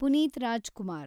Puneeth Rajkumar